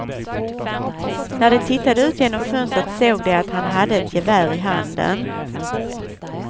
När de tittade ut genom fönstret såg de att han hade ett gevär i handen.